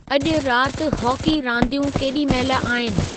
अॼु रााति हॉकी रांदियूं केॾी महिल आहिनि